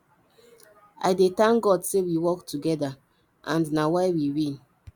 i dey thank god say we work together and na why we win